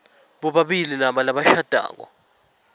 bobabili laba labashadako